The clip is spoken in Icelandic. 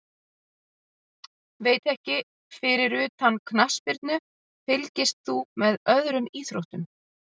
Veit ekki Fyrir utan knattspyrnu, fylgist þú með öðrum íþróttum?